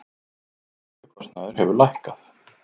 Lyfjakostnaður hefur lækkað